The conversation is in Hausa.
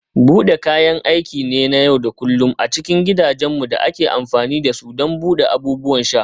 Bude kayan aiki ne na yau da kullun a cikin gidajenmu da ake amfani da su don buɗe abubuwan sha.